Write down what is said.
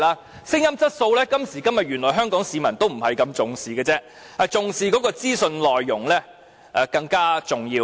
至於聲音質素，原來今天也不大獲得香港市民重視，因資訊內容更為重要。